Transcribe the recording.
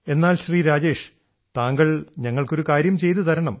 എന്നാൽ ശ്രീ രാജേഷ് താങ്കൾ ഞങ്ങൾക്ക് ഒരു കാര്യം ചെയ്തു തരണം